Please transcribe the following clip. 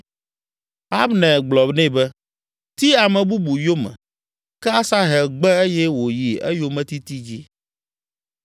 Abner gblɔ nɛ be, “Ti ame bubu yome!” Ke Asahel gbe eye wòyi eyometiti dzi.